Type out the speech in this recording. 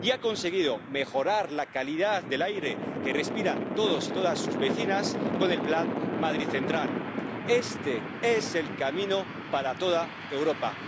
Y ha conseguido mejorar la calidad del aire que respiran todos sus vecinos y todas sus vecinas con el plan Madrid Central. Este es el camino para toda Europa.